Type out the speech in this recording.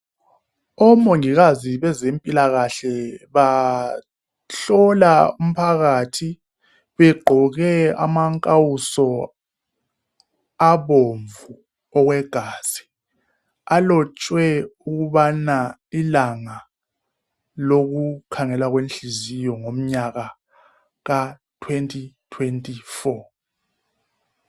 Omongikazi bezempilakahle bahlola umphakathi begqoke amankawuso abomvu okwegazi, alotshwe ukubana ilanga lokukhangela kwenhliziyo ngomnyaka ka 2024.